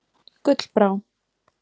Gullbrá